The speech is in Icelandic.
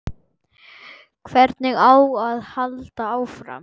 Hvernig á að halda áfram?